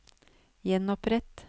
gjenopprett